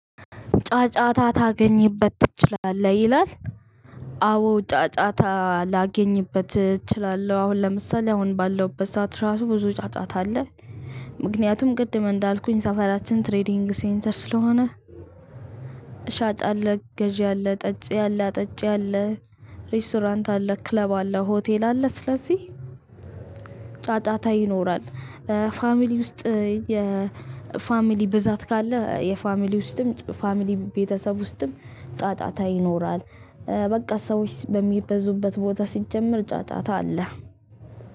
ጫጫታ ታገኝበት ትችላለህ ይላል። አዎ ጫጫታ ላገኝበት እችላለሁ አሁን ለምሳሌ አሁን ባለውበት ሰዓት ራሱ ብዙ ጫጫታ አለ። ምክንያቱም ቅድም እንዳልኩኝ ሰፈራችን ትሬዲንግ ሴንተር ስለሆነ። ሻጭ አለ ገዢ አለ ጠጭ ያለ አጠጭ ያለ ሬስቶራንት አለ ክለብ አለ ሆቴል አለ ስለዚህ ጫጫታ ይኖራል። ፋሚሊ ውስጥ። ፋሚሊ ብዛት ካለህ የፋሚሊ ውስጥም ፋሚሊ ቤተሰብ ውስጥም ጫጫታ ይኖራል። በቃ ስዎች በሚበዙበት ቦታ ሲጀመር ጫጫታ አለ።